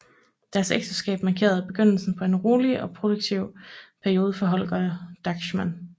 Deres ægteskab markerede begyndelsen på en rolig og produktiv periode for Holger Drachmann